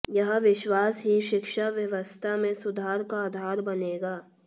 यह विश्वास ही शिक्षा व्यवस्था में सुधार का आधार बनेगा